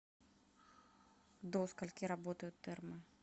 до скольки работают термы